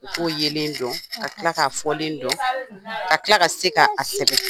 U k'u yelen dɔn, ka tila k'a fɔlen dɔn, ka tila ka se k'a sɛbɛn.